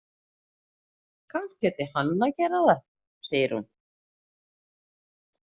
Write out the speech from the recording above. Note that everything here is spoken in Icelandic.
Kannski ætti hann að gera það, segir hún.